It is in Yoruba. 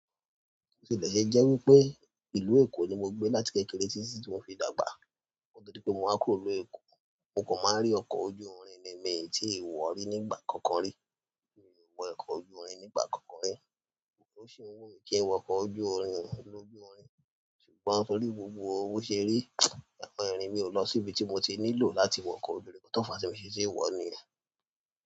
Ti mo de ṣe jẹ́ wípé ìlú Èkó ni mo gbé láti kékeré títí tí mo fi dàgbà. Nítorí pé mo wá kúrò nilu Èkó, mo kan maa rí ọkọ̀ ojú irin nì mii tíi wọ̀ rí nígbà kankan rí. Mi ò wọ ọkọ̀ ojú irin nígbà kankan rí. Ó sì n wùmí kí n wọ ọkọ̀ ojú irin lójú irin, ṣùgbọ́n torí gbogbo bi o ṣe rí, ìrìn mi ò lọ síbi tí mo ti nílò láti wọ ọkọ̀ ojú irin, nkan tó fà ti mii ṣe tii wọ̀ niyen.